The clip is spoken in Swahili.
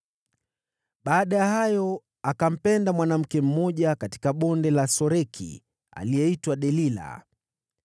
Baada ya hayo akampenda mwanamke mmoja katika Bonde la Soreki aliyeitwa Delila.